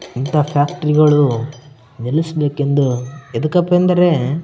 ಇಂಥ ಫಾಕ್ಟ್ರಾಯ್ ಗಳು ನಿಲ್ಲಸ್ಬೇಕೂ ಎದಕ್ಕಪ್ಪ ಎಂದರೆ --